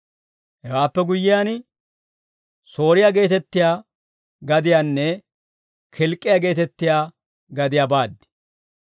Hewaappe guyyiyaan, Sooriyaa geetettiyaa gadiyaanne Kilk'k'iyaa geetettiyaa gadiyaa baad.